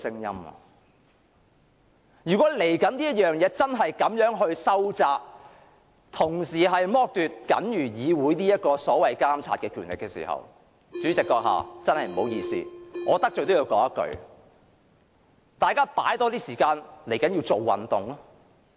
如果稍後真的這樣收窄《議事規則》，剝奪議會僅餘的監察權力，主席閣下，真的不好意思，我得罪也要說一句，大家要花多些時間做運動。